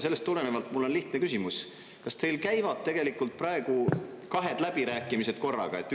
Sellest tulenevalt mul on lihtne küsimus: kas teil käivad tegelikult praegu kahed läbirääkimised korraga?